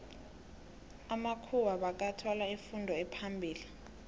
amamkhuwa bekathola ifundo ephambili